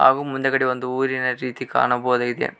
ಹಾಗು ಮುಂದೆಗಡೆ ಒಂದು ಊರಿನ ರೀತಿ ಕಾಣಬಹುದಾಗಿದೆ.